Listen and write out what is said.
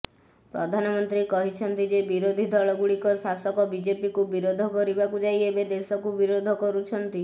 ପ୍ରଧାନମନ୍ତ୍ରୀ କହିଛନ୍ତି ଯେ ବିରୋଧୀ ଦଳଗୁଡିକ ଶାସକ ବିଜେପିକୁ ବିରୋଧ କରିବାକୁ ଯାଇ ଏବେ ଦେଶକୁ ବିରୋଧ କରୁଛନ୍ତି